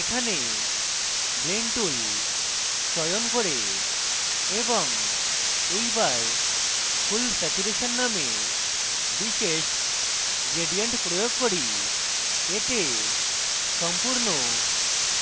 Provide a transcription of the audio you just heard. এখানে blend tool চয়ন করে এবং এই বার full saturation নামে বিশেষ gradient প্রয়োগ করি এতে সম্পূর্ণ